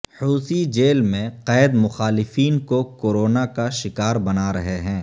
Houthi jail میں قید مخالفین کو کورونا کا شکار بنارہے ہیں